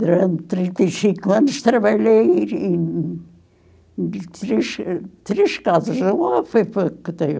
Durante trinta e cinco anos trabalhei em em três três casas, uma foi pouco tempo.